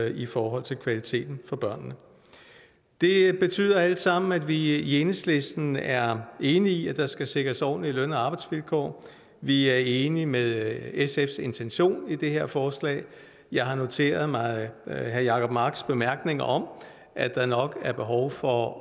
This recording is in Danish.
i forhold til kvaliteten for børnene det betyder alt sammen at vi i enhedslisten er enige i at der skal sikres ordentlige løn og arbejdsvilkår vi er enige med sfs intention i det her forslag jeg har noteret mig herre jacob marks bemærkning om at der nok er behov for